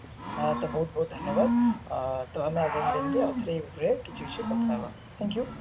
ହଁ ତ ବହୁତ ବହୁତ ଧନ୍ୟବାଦ ଉଁ ତ ଆମେ ଆଗାମୀ ଦିନରେ ଆଉ ଥରେ କିଛି ବିଷୟରେ କଥା ହେବା thank you